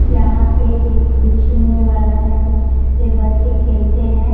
यहां पे एक बिछने वाला है जिसपे बच्चे खेलते हैं।